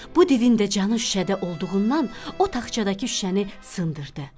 Bu divin də canı şüşədə olduğundan, o taxçadakı şüşəni sındırdı.